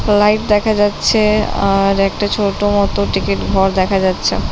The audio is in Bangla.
লাইট দেখা যাচ্ছে-এ আর একটা ছোট মতো টিকিট ঘর দেখা যাচ্ছে ।